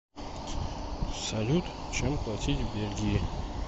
салют чем платить в бельгии